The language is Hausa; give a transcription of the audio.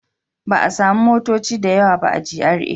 Ba a sami motoci da yawa ba a GRA